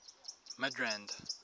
midrand